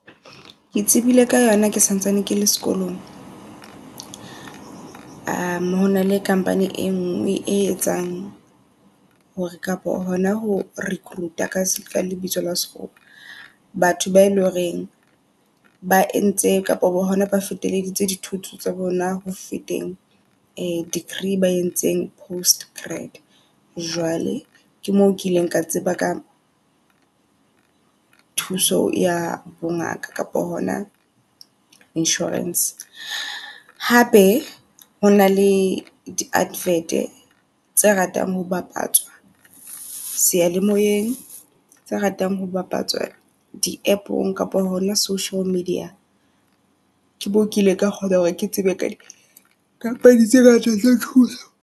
Ke tsebile ka yona ke santsane ke le sekolong. Hona le company e ngwe e etsang hore kapa hona ho recruit-a ka se ka lebitso la sekgowa. Batho bae loreng ba entseng kapo hona ba fetekeditse dithuto tsa bona ho feteng degree ba entseng post grad. Jwale ke mo kileng ka tseba ka thuso ya bo ngaka kapa hona insurance. Hape hona le di -advert tse ratang ho bapatswa sealemoeng. Tse ratang ho bapatswa di app-ong kapa hona social media. Ke moo kile ka kgona hore ke tsebe ka di bapadi tse company tse ngata tsa thuso.